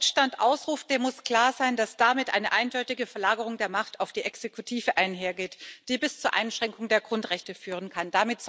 Wer einen Notstand ausruft, dem muss klar sein, dass damit eine eindeutige Verlagerung der Macht auf die Exekutive einhergeht, die bis zur Einschränkung der Grundrechte führen kann.